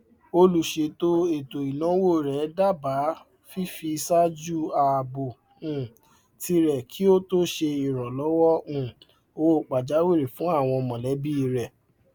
olùṣètò ètò ináwó rẹ dábàá fífiṣájú ààbò um tirẹ kí ó tó ṣe ìrànlọwọ um owó pàjáwìrì fún àwọn mọlẹbí rẹ